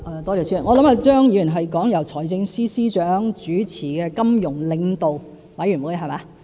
我想張議員是指由財政司司長主持的金融領導委員會。